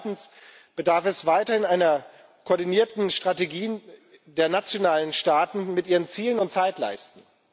Und zweitens bedarf es weiterhin einer koordinierten Strategie der nationalen Staaten mit ihren Zielen und Zeitleisten.